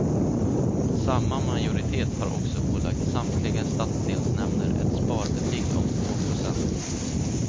Samma majoritet har också ålagt samtliga stadsdelsnämnder ett sparbeting om två procent.